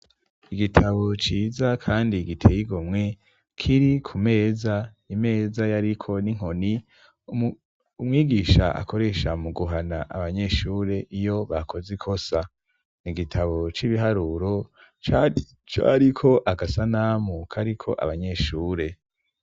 Igitabo ciza kandi giteye igomwe kiri ku meza, imeza yariko n'inkoni umwigisha akoresha mu guhana abanyeshure iyo bakoze ikosa. Ni gitabo c'ibiharuro co ariko agasanamu kariko abanyeshure.